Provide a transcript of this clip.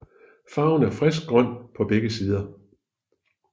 Farven er friskt grøn på begge sider